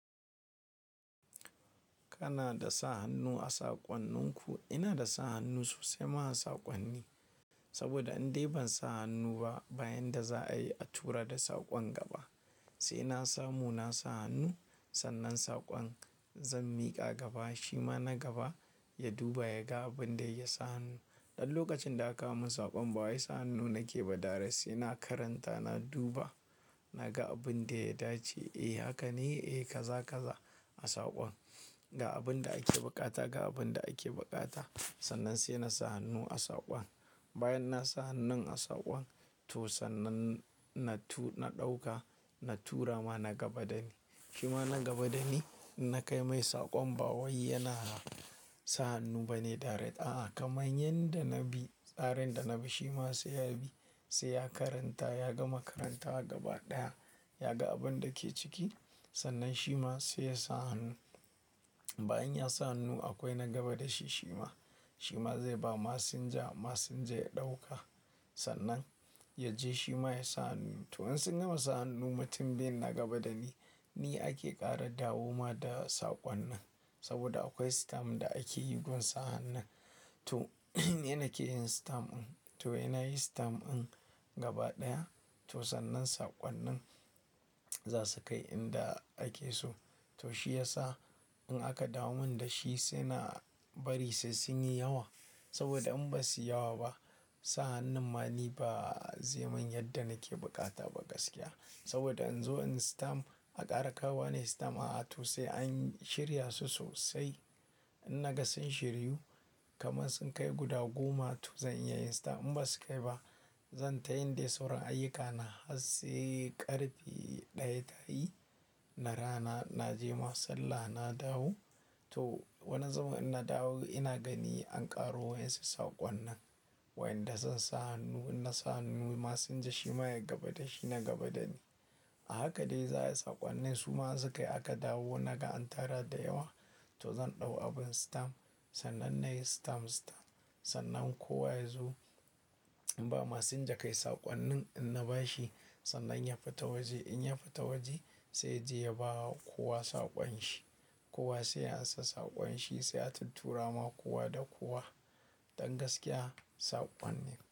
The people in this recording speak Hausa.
Kana da sa hannu a saƙonninku? Ina da sa hannu sosai ma a saƙonni, saboda indai ban sa hannu ba bayan da za a yi a tura da saƙon gaba. Sai na samu, na sa hannu, sannan saƙon zan miƙa gaba. Shima na gaba ya duba, ya ga abin da ya sa hannu. Dan lokacin da aka mun saƙon ba wa ya sa hannu nake ba da rasa. Ina karanta, na duba, na ga abin da ya dace. Eh haka ne, eh kaza kaza a saƙon. Ga abin da ake buƙata, ga abin da ake buƙata. Sannan sai na sa hannu a saƙon. Bayan na sa hannun a saƙon to sannan na ɗauka, na tura ma na gaba dani. Shima na gaba dani na kai mai saƙon ba wai yana sa hannu bane kai tsaye. A'a kamar yanda na bi tsarin da na bi shima sai ya bi. Sai ya karanta, ya gama karanta gaba ɗaya, ya ga abin da ke ciki sannan shima sai ya sa hannu. Bayan ya sa hannu akwai na gaba da shi shima. Shima zai ba masinja, masinja ya ɗauka sannan yaje shima ya sa hannu. To in sun gama sa hannu mutum biyu na gaba dani, ni ake ƙara dawowa da saƙon nan. Saboda akwai system da ake yi don sa hannun. To ina ake yin system din. To ina yi system din gaba ɗaya. To sannan saƙonnin za su kai inda ake so. To shi yasa in aka dawomin da shi sai na bari sai sun yi yawa. Saboda in ba su yi yawa ba, sa hannun ma ni ba zai mun yadda nake buƙata ba gaskiya. Saboda in zo in system, a ƙara kawo nayi system. A'a to sai an shirya su sosai. In naga sun shiryu kamar sun kai guda goma to zan iya yin system. In ba su kai ba, zan tayin dai sauran ayyukana har sai ƙarfe ɗaya tayi. Da rana na je ma sallah, na dawo. To wani zubin inna dawo ina gani an ƙaro wa insu saƙonnin. Wai inda zansa hannu. Inna sa hannu ma sunji shima ya gaba da shi, na gaba da ni. A haka dai za a yi saƙonnin su ma in su kai aka dawo naga an tara da yawa. To zan ɗau abin system sannan nayi system system. Sannan kowa ya zo in ba masinja kai saƙonnin in na ba shi sannan ya fita waje. In ya fita waje sai yaje ya bawa kowa saƙon shi. Kowa sai ya ansa saƙon shi sai a tuntura ma kowa da kowa. Dan gaskiya saƙon ne.